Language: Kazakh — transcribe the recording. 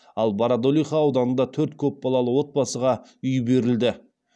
ал бородулиха ауданында төрт көпбалалы отбасыға үй берілді